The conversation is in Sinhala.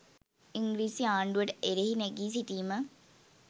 ඉංග්‍රීසි ආණ්ඩුවට එරෙහිව නැගී සිටීම